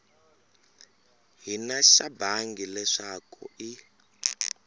hina xa bangi leswaku i